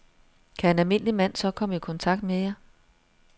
Kan en almindelig mand så komme i kontakt med jer?